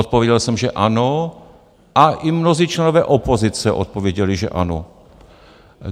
Odpověděl jsem, že ano a i mnozí členové opozice odpověděli, že ano.